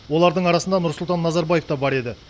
олардың арасында нұрсұлтан назарбаев та бар еді